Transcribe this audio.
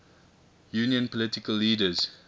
union political leaders